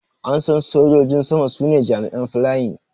An San Sojojin sama su ne jami'in flying.